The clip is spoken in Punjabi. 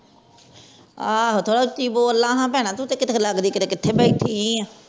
ਆਹੋ ਥੋੜ੍ਹਾ ਉੱਚੀ ਬੋਲਾਂ ਹਨ ਭੈਣਾਂ ਤੂੰ ਤਾ ਕੀਤੇ ਲਗਦਾ ਕੀਤੇ ਕਿਥੇ ਬੈਠੀ ਆ